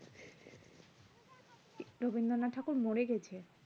রবীন্দ্রনাথ ঠাকুর মরে গেছে